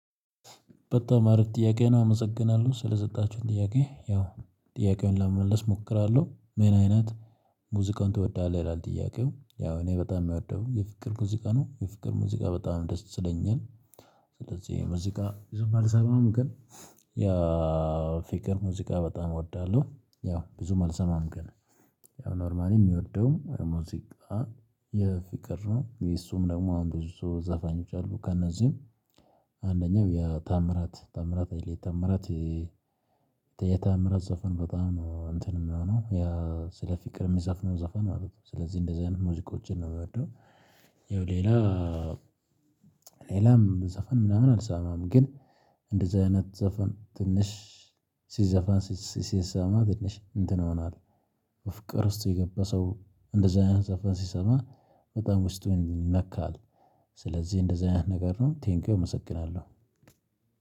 በጣም አሪፍ ጥያቄ ነው አመሰግናለሁ ስለሰጣችሁኝ ጥያቄ ያው ጥያቄውን ለመመለስ እሞክራለሁ። ምን አይነት ሙዚቃን ትወዳለህ? ይላል ጥያቄው ያው እኔ በጣም የምወደው የፍቅር ሙዚቃ ነው የፍቅር ሙዚቃ በጣም ደስ ይለኛል። ስለዚህ የሙዚቃ ብዙም አልሰማም ግን ያ ፊት ሙዚቃ በጣም እወዳለሁ። ያው ብዙም አልሰማም ግን ኖርማሊ የሚወደው ሙዚቃ የፍቅር ነው። እሱም ደግሞ አሁን ብዙ ዘፋኞች አሉ። ከእነዚህም አንደኛው የታምራት ታምራት። የታምራት ዘፈን በጣም ነው እንትን የሚሆነው ያ ስለ ፍቅር የሚዘፍነው ዛፋን አሉት። ስለዚህ እንደዚህ አይነት ሙዚቆችን ነው የሚወደው። ይኸው ሌላ ሌላም ዘፈን ምናምን አልሰማም። ግን እንደዚህ አይነት ዘፈን ትንሽ ሲዘፈን ሲሰማ ትንሽ እንትን ይሆናል። ፍቅር ውስጥ የገባ ሰው እንደዚህ አይነት ዘፋ ሲሰማ በጣም ውስጥ ይነካል። ስለዚህ እንደዚህ አይነት ነገር ነው። ቴንኪው እመሰግናለሁ